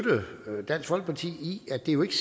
dansk folkeparti i at det jo ikke